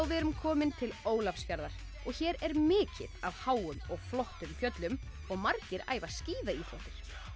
við erum komin til Ólafsfjarðar hér er mikið af háum og flottum fjöllum og margir æfa skíðaíþróttir